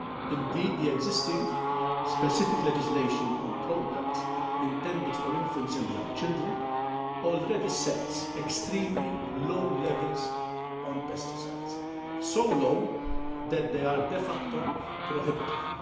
Indeed, the existing specific legislation on products intended for infants and young children already sets extremely low levels for pesticides so low that they are de facto prohibitive.